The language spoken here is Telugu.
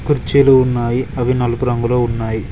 కుర్చీలు ఉన్నాయి అవి నలుపు రంగులో ఉన్నాయి.